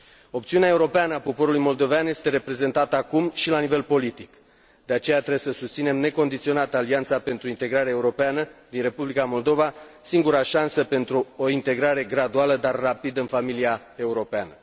Opțiunea europeană a poporului moldovean este reprezentată acum și la nivel politic. De aceea, trebuie să susținem necondiționat Alianța pentru Integrare Europeană din Republica Moldova, singura șansă pentru o integrare graduală, dar rapidă, în familia europeană.